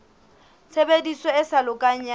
tshebediso e sa lokang ya